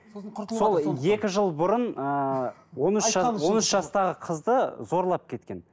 сол екі жыл бұрын ыыы он үш жастағы қызды зорлап кеткен